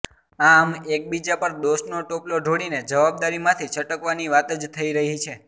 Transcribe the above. આમ એકબીજા પર દોષનો ટોપલો ઢોળીને જવાબદારીમાંથી છટકવાની વાત જ થઇ રહી છે